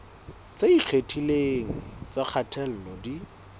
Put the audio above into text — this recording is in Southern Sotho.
tse ikgethileng tsa kgatello di